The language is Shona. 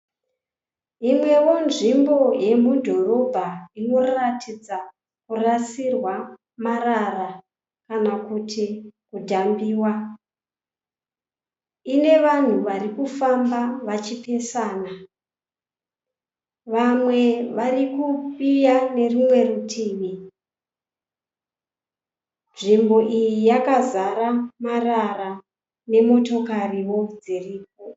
Yimwewo nzvimbo yemudhorobha inoratidza kurasirwa marara kana kuti kudhambiwa, ine vanhu varikufamba vachipesana, vamwe varikuuya nerimwe rutivi. Nzvimbo iyi yakazara marara nemotokariwo dziripo.